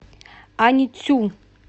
аньцю